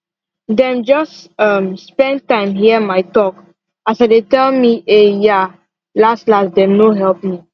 dem just um spend time hear my talk as i dey tell me ehh yaa last last dem no help me